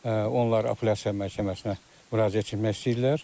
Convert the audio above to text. Onlar apellyasiya məhkəməsinə müraciət etmək istəyirlər.